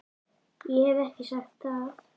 Ég hef ekki sagt það!